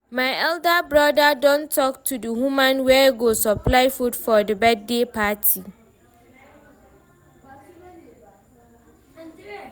my elder broda don talk to the woman wey go supply food for the birthday party